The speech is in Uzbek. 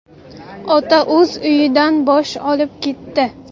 Ota o‘z uyidan bosh olib ketdi.